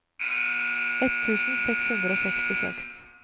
ett tusen seks hundre og sekstiseks